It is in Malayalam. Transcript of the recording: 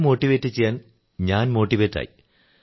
അവരെ മോട്ടിവേറ്റു ചെയ്യാൻ ഞാൻ മോട്ടിവേറ്റായി